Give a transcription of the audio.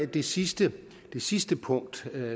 det sidste sidste punkt